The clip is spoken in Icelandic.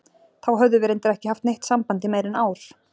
Þá höfðum við reyndar ekki haft neitt samband í meira en ár.